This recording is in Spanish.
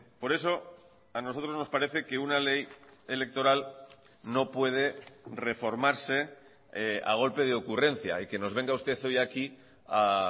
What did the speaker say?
por eso a nosotros nos parece que una ley electoral no puede reformarse a golpe de ocurrencia y que nos venga usted hoy aquí a